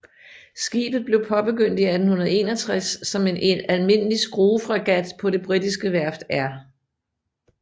Skibet blev påbegyndt i 1861 som en almindelig skruefregat på det britiske værft R